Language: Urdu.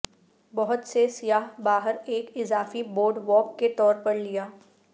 بہت سے سیاح باہر ایک اضافی بورڈ واک کے طور پر لیا